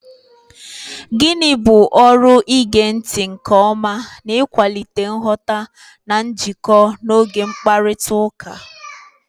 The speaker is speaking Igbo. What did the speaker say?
Gịnị bụ ọrụ ige ntị nke ọma n'ịkwalite nghọta na njikọ n'oge mkparịta ụka?